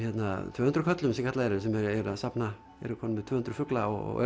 tvöhundruð köllum sem kallaðir eru sem eru að safna eru komnir með tvö hundruð fugla og